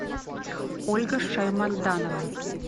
ольга шайманданова